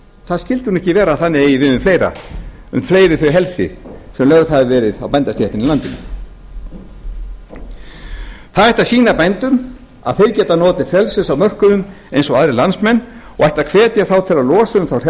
það skyldi nú ekki vera að að eigi við um fleiri þau helsi sem lögð hafa verið á bændastéttina í landinu það ætti að sýna bændum að þeir geta notið frelsis á mörkuðum eins og aðrir landsmenn og ætti að hvetja þá til að losa um þá